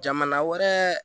Jamana wɛrɛ